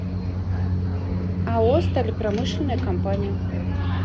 ао сталепромышленная компания